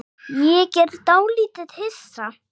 Ég er dálítið hissa.